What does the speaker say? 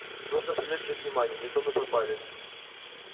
нужно привлечь их внимание не то мы пропали